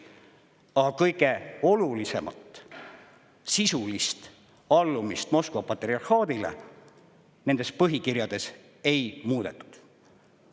Aga kõige olulisemat – sisulist allumist Moskva patriarhaadile – nendes põhikirjades ei muudetud.